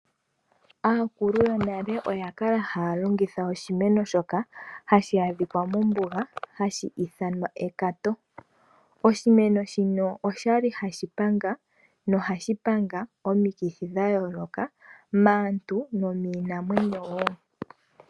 Aakulu yonale oya kala haya longitha oshimeno shoka hashi adhikwa mombuga nohashi ithanwa ekato. Oshimeno shino osha li hashi panga nohashi panga omikithi dha yooloka maantu nomiinamwenyo wo.